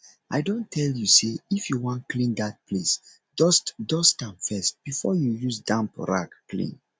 i don tell you say if you wan clean dat place dust dust am first before you use damp rag clean